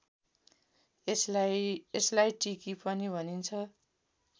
यसलाई टिकी पनि भनिन्छ